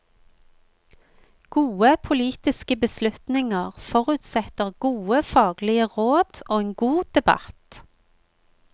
Gode politiske beslutninger forutsetter gode faglige råd og en god debatt.